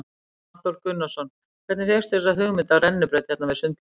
Hafþór Gunnarsson: Hvernig fékkstu þessa hugmynd af rennibraut hérna við sundlaugina?